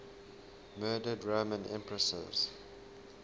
murdered roman empresses